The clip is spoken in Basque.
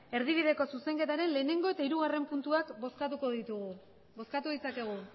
erdibideko zuzenketaren lehenengo eta hirugarren puntuak bozkatuko ditugu bozkatu ditzakegu